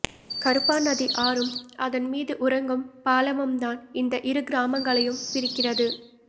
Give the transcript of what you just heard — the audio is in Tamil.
கறுப்பாநதி ஆறும் அதன் மீது உறங்கும் பாலமும்தான் இந்த இரு கிராமங்களையும் பிரிக்கிறது